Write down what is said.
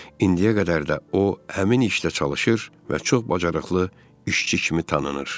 İndiyə qədər də o, həmin işdə çalışır və çox bacarıqlı işçi kimi tanınır.